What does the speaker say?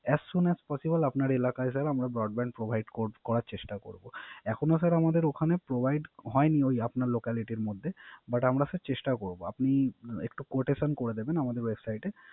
As soon as possible আপনার এলাকায় sir আপনার এলাকায় আমরা Broadband provide করার চেষ্টা করব। এখনো স্যার ওখানে Provide হয়নি আপনার Locality এর মধ্যে But আমরা স্যার চেষ্টা করব। আপনি একটু Quotation করে দিবেন আমাদের Website এ